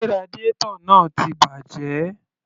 Sé radiator náà ti bàjẹ́?